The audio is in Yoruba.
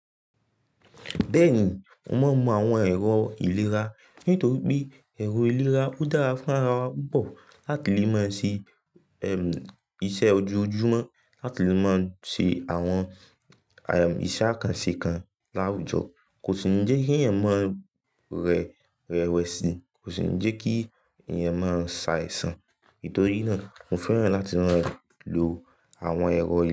Bẹ́ẹ̀ni, mo máa ń mu àwọn ẹ̀rọ ìlera, nítorí pé ẹ̀rọ ìlera ó dára fún ara wa púpọ̀ láti lè máa ṣe, ẹm, iṣẹ́ ojoojúmọ́, láti lè máa ṣe àwọn, ayọ̀, iṣẹ́ àkànṣe kan láwùjọ kò tu ní jẹ́ kí ẹ̀yàn má rẹ, rẹwẹ̀sì, kò sì ní jẹ́ kí ẹ̀yàn má sá èsan. Nítorí náà, mo fẹ́ràn láti máa lọ àwọn ẹ̀rọ ìle.